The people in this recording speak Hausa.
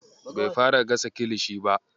Bai fara gasa kilishi ba.